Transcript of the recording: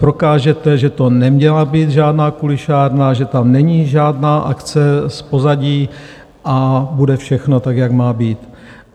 Prokážete, že to neměla být žádná kulišárna, že tam není žádná akce z pozadí, a bude všechno tak, jak má být.